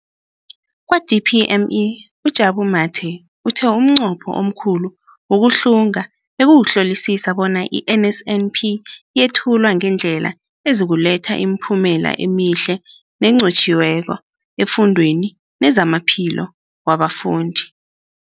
Kwa-DPME, uJabu Mathe, uthe umnqopho omkhulu wokuhlunga bekukuhlolisisa bona i-NSNP yethulwa ngendlela ezokuletha imiphumela emihle nenqotjhiweko efundweni nezamaphilo wabafundi.